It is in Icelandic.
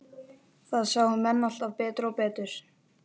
Það sáu menn alltaf betur og betur.